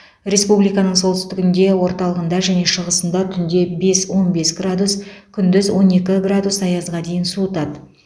республиканың солтүстігінде орталығында және шығысында түнде бес он бес градус күндіз он екі градус аязға дейін суытады